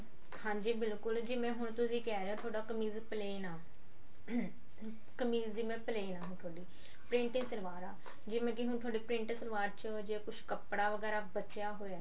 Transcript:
ਹਾਂਜੀ ਬਿਲਕੁਲ ਜਿਵੇਂ ਹੁਣ ਤੁਸੀਂ ਕਿਹ ਰਹੇ ਹੋ ਤੁਹਾਡਾ ਕਮੀਜ਼ plain ਆ ਕਮੀਜ਼ ਜਿਵੇਂ plain ਆ ਹੁਣ ਥੋਡੀ printing ਸਲਵਾਰ ਆ ਜਿਵੇਂ ਕਿ ਹੁਣ ਤੁਹਾਡੀ ਪ੍ਰਿੰਟ ਸਲਵਾਰ ਚ ਜੇ ਕੁੱਝ ਕੱਪੜਾ ਵਗੈਰਾ ਬਚਿਆ ਹੋਇਆ